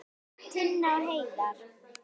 Tinna og Heiðar.